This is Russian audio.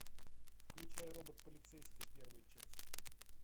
включай робот полицейский первая часть